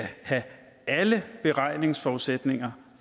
have alle beregningsforudsætninger